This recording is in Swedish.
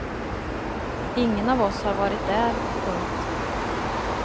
Ingen av oss har varit där. punkt